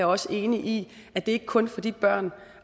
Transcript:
også enig i at det ikke kun gælder for de børn